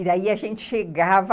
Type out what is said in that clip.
E daí a gente chegava...